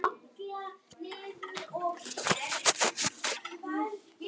Endurprentað í bók Guðmundar Kjartanssonar: Fold og vötn.